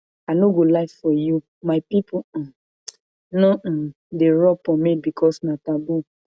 i no go lie for you my people um no um dey rub pomade because na taboo